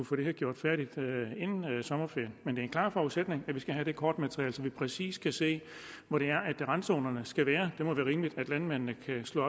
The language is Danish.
få det her gjort færdigt inden sommerferien men det er en klar forudsætning at vi skal have det kortmateriale så man præcis kan se hvor det er randzonerne skal være det må være rimeligt at landmændene kan slå